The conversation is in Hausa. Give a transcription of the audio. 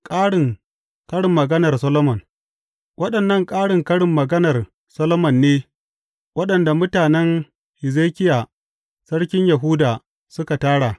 Ƙarin karin maganar Solomon Waɗannan ƙarin karin maganar Solomon ne waɗanda mutanen Hezekiya sarkin Yahuda suka tara.